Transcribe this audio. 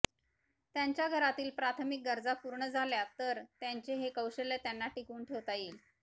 त्यांच्या घरातील प्राथमिक गरजा पूर्ण झाल्या तर त्यांचे हे कौशल्य त्यांना टिकवून ठेवता येईल